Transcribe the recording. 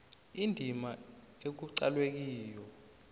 indima ekuqalwe kiyo